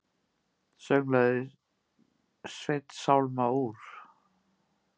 Sönglaði Sveinn sálma úr